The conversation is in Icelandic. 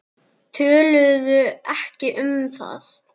Töluðu ekki um það.